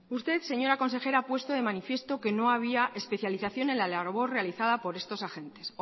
usted señora consejera ha puesto de manifiesto que no había especialización en la labor realizada por estos agentes